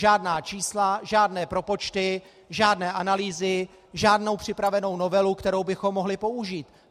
Žádná čísla, žádné propočty, žádné analýzy, žádnou připravenou novelu, kterou bychom mohli použít.